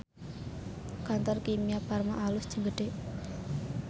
Kantor Kimia Farma alus jeung gede